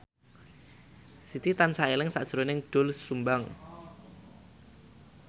Siti tansah eling sakjroning Doel Sumbang